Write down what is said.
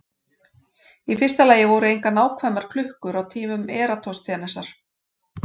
Í fyrsta lagi voru engar nákvæmar klukkur til á tímum Eratosþenesar.